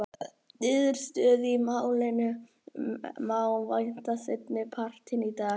Niðurstöðu í málinu má vænta seinni partinn í dag.